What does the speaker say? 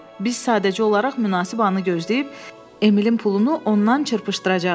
Biz sadəcə olaraq münasib anı gözləyib, Eminin pulunu ondan çırpışdıracağıq.